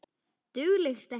Dugleg stelpa